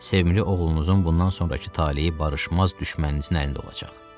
Sevimli oğlunuzun bundan sonrakı taleyi barışmaz düşməninizin əlində olacaq.